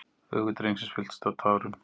Augu drengsins fylltust af tárum.